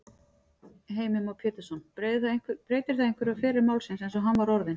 Heimir Már Pétursson: Breytir það einhverju um feril málsins eins og hann var orðinn?